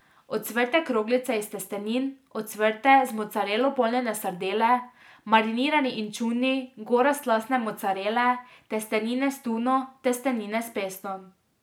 Ocvrte kroglice iz testenin, ocvrte, z mocarelo polnjene sardele, marinirani inčuni, gora slastne mocarele, testenine s tuno, testenine s pestom ...